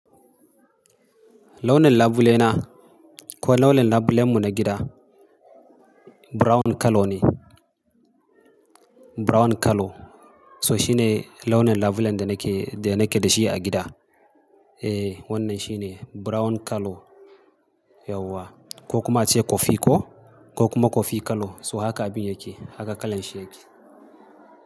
Launin labule na ko launin labulen mu na gida brown color ne. Brown color so shi ne launin labulen da nake, da nake da shi a gida. Eh wannan shi ne brown color yauwa ko kuma ace kofi ko, ko kuma kofi color so haka abin yake, haka kalan shi yake.